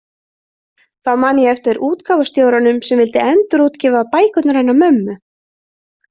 Þá man ég eftir útgáfustjóranum sem vildi endurútgefa bækurnar hennar mömmu.